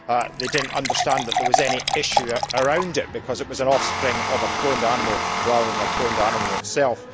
They did not understand that there was any issue with it because it was an offspring of a cloned animal, rather than a cloned animal itself.